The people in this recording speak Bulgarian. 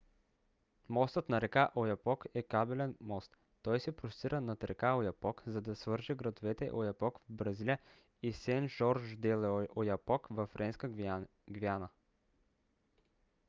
мостът на река ояпок е кабелен мост. той се простира над река ояпок за да свърже градовете ояпок в бразилия и сен-жорж-де-л'ояпок във френска гвиана